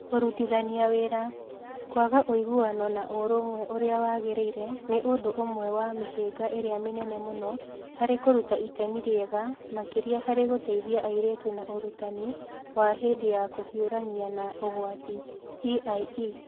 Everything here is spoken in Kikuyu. Kũrutithania wĩra: kwaga ũiguano na ũrũmwe ũrĩa wagĩrĩire nĩ ũndũ ũmwe wa mĩhĩnga ĩrĩa mĩnene mũno harĩ kũruta itemi rĩega makĩria harĩ gũteithia airĩtu na Ũrutani wa hĩndĩ ya kũhiũrania na ũgwati (EiE).